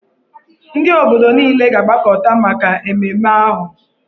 Ndị obodo niile ga-agbakọta maka ememme ahụ.